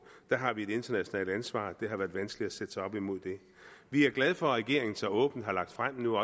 der har vi et internationalt ansvar og det har været vanskeligt at sætte sig op imod det vi er glade for at regeringen så åbent har lagt frem og nu